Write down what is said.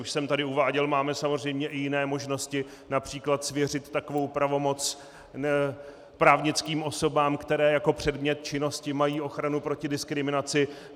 Už jsem tady uváděl, máme samozřejmě i jiné možnosti, například svěřit takovou pravomoc právnickým osobám, které jako předmět činnosti mají ochranu proti diskriminaci.